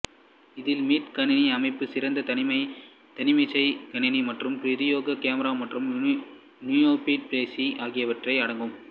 இதில் மீட் கணினி அமைப்பு சிறிய தனிமேசைக் கணினி மற்றும் பிரத்தியேக கேமரா மற்றும் நுணொலிப்பேசி ஆகியவை அடங்கும்